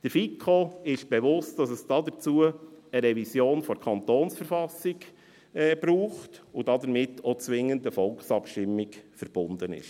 Der FiKo ist bewusst, dass es dazu eine Revision der KV braucht und damit zwingend eine Volkabstimmung verbunden ist.